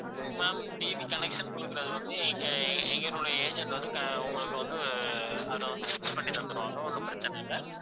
ma'am TV connection குடுக்குறது வந்து எங்க எ~ எங்களுடைய agent வந்து க~ உங்களுக்கு வந்து அத வந்து fix பண்ணி தந்திடுவாங்க ஒண்ணும் பிரச்சனை இல்லை